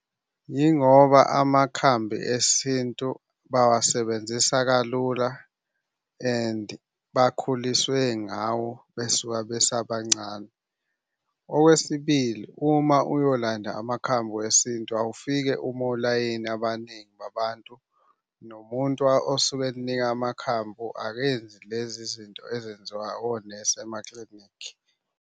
Yingoba amakhambi esintu bawasebenzisa kalula and bakhuliswe ngawo besuka besabancane. Okwesibili, uma uyolanda amakhambi wesintu, awufike ume olayini abaningi babantu. Nomuntu osuke eninika amakhambu akenzi lezi zinto ezenziwa onesi emaklinikhi.